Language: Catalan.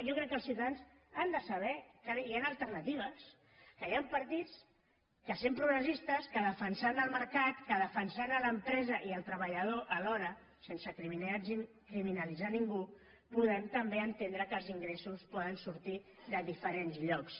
jo crec que els ciutadans han de saber que hi han alternatives que hi han partits que sent progressistes defensant el mercat defensant l’empresa i el treballador alhora sense criminalitzar ningú podem també entendre que els ingressos poden sortir de diferents llocs